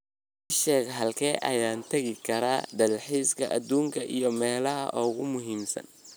ii sheeg halkee ayaan tagi karaa dalxiiska aduunka iyo meelaha ugu muhiimsan